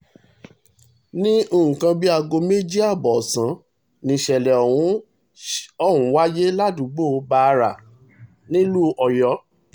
ní nǹkan bíi aago méjì ààbọ̀ ọ̀sán níṣẹ̀lẹ̀ ọ̀hún ṣ ọ̀hún wáyé ládùúgbò bàárà nílùú ọ̀yọ́